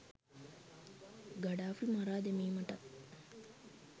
Gaddafi මරා දැමීමටත්